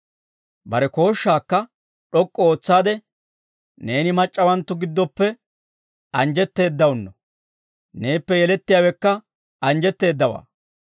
Bare kooshshaakka d'ok'k'u ootsaade, «Neeni mac'c'awanttu giddoppe anjjetteeddawunno. Neeppe yelettiyaawekka anjjettowaa.